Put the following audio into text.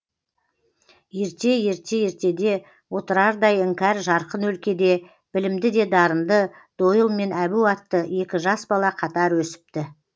ерте ерте ертеде отырардай іңкәр жарқын өлкеде білімді де дарынды дойыл мен әбу атты екі жас бала қатар өсіпті